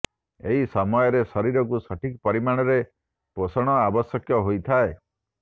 ଏହି ସମୟରେ ଶରୀରକୁ ସଠିକ୍ ପରିମାଣରେ ପୋଷଣ ଆବଶ୍ୟକ ହୋଇଥାଏ